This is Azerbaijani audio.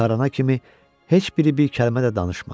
Çıxarana kimi heç biri bir kəlmə də danışmadı.